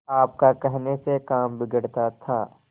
आपका कहने से काम बिगड़ता था